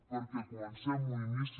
perquè comencem un inici